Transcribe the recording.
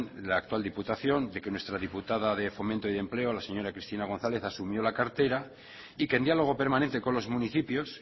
en la actual diputación de que nuestra diputada de fomento y de empleo la señora cristina gonzález asumió la cartera y que en diálogo permanente con los municipios